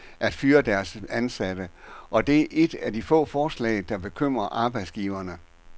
Heriblandt er et, der skal gøre det sværere for arbejdsgiverne at fyre deres ansatte, og det er et af få forslag, der bekymrer arbejdsgiverne.